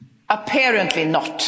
Apparently